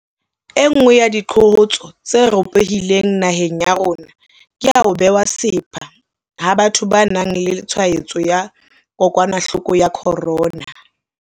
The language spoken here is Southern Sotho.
Enngwe ya diqholotso tse ropohileng naheng ya rona ke ya ho bewa sepha ha batho ba nang le tshwaetso ya kokwanahloko ya corona.